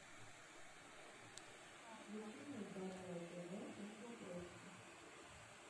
включи мне здоровое тв на смотрешке